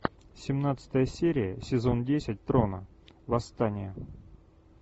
семнадцатая серия сезон десять трона восстание